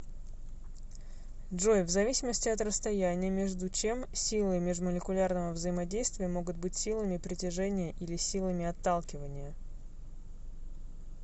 джой в зависимости от расстояния между чем силы межмолекулярного взаимодействия могут быть силами притяжения или силами отталкивания